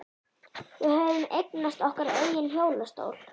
Við höfðum eignast okkar eigin hjólastól.